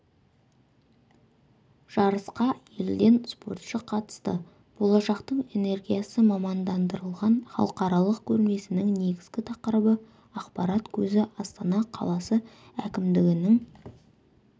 жарысқа елден спортшы қатысты болашақтың энергиясы мамандандырылған халықаралық көрмесінің негізгі тақырыбы ақпарат көзі астана қаласы әкімдігінің